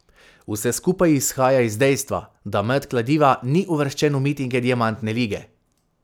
Vse skupaj izhaja iz dejstva, da met kladiva ni uvrščen v mitinge diamantne lige.